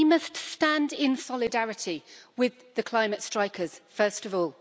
We must stand in solidarity with the climate strikers, first of all.